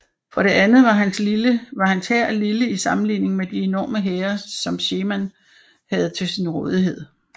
For det andet var hans hær lille i sammenligning med de enorme hære som Sherman havde til sin rådighed